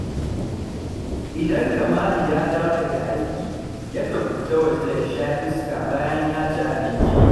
Idan Kamalu ya dawo daga aiki, yakan fita waje ya sha iska bayan ya ci abinci